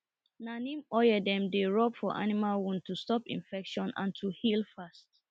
na neem oil dem dey rub for animal wound to stop infection and to heal fast